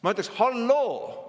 " Ma ütleksin: "Halloo!